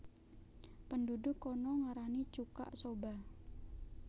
Penduduk kana ngarani chuka soba